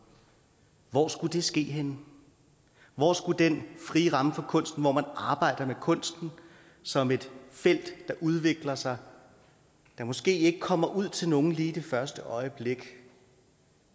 hvor skulle det ske henne hvor skulle den frie ramme for kunsten hvor man arbejder med kunsten som et felt der udvikler sig men måske ikke kommer ud til nogen lige i det første øjeblik